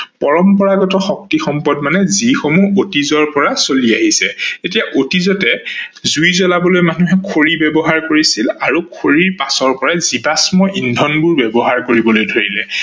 পৰম্পৰাগত শক্তি সম্পদ মানে যিসমূহ অতিজৰ পৰা চলি আহিছে। এতিয়া অতিজতে জুই জ্লাবলৈ মানুহে খৰি ব্যৱহাৰ কৰিছিলে আৰু খৰিৰ পাছৰ পৰাই জীৱাস্ম ইন্ধনবোৰ ব্যৱহাৰ কৰিবলৈ ধৰিলে।